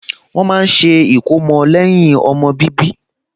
Wọ́n máa ń ṣe ìkómọ lẹ́yìn ọmọ bíbí